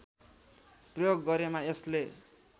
प्रयोग गरेमा यसले